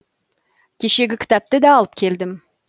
кешегі кітапты да алып келдім